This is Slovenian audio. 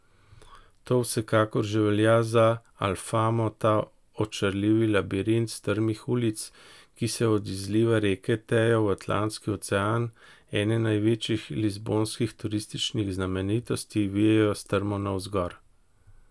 To vsekakor že velja za Alfamo, ta očarljivi labirint strmih ulic, ki se od izliva reke Tejo v Atlantski ocean, ene največjih lizbonskih turističnih znamenitosti, vijejo strmo navzgor.